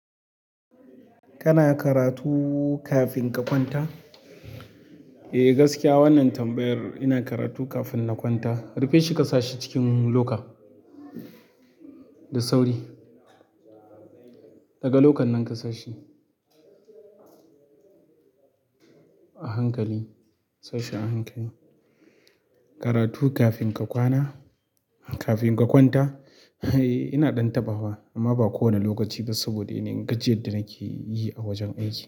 Kana karatu kafin ka kwanta? Eh, gaskiya wannan tambayar ina karatu kafin na kwanta. Rufe shi ka sa shi cikin loka da sauri. Daga lokan nan ka sashi a hankali, sashi a hankali. Karatu kafin ka kwana, kafin ka kwanta? Eh, ina ɗan tabba wa amma ba kowane lokaci ba saboda yana yin gajiyar da nake yi a wajen aiki.